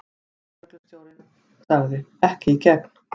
Lögreglustjórinn sagði: Ekki í gegn.